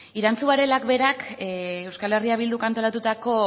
irantzu varelak berak euskal herria bilduk antolatutako